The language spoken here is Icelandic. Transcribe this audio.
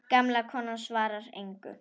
Gamla konan svarar engu.